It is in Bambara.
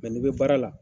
n'i bɛ baara la